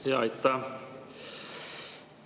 Aitäh!